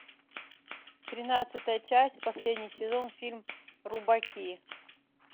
тринадцатая часть последний сезон фильм рубаки